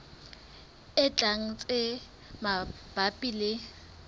e tlang tse mabapi le